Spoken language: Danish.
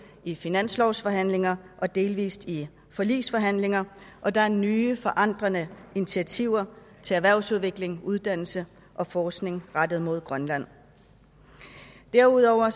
i finanslovsforhandlinger og delvist i forligsforhandlinger og der er nye forandrende initiativer til erhvervsudvikling uddannelse og forskning rettet mod grønland derudover er